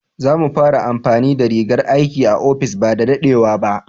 Za mu fara amfani da rigan aiki a ofis ba da daɗewa ba.